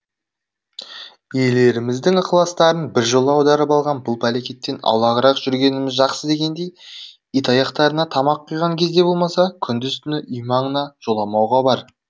иелеріміздің ықыластарын біржола аударып алған бұл пәлекеттен аулағырақ жүргеніміз жақсы дегендей итаяқтарына тамақ құйған кезде болмаса күндіз түні үй маңына жоламауға бар